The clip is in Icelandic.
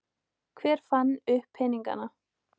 Hver fann upp peningana?